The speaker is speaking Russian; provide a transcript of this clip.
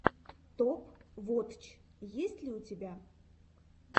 топ вотч есть ли у тебя